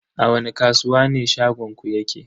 A wani kasuwa ne shagonku yake?